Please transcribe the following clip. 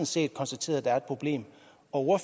set konstateret at der er et problem og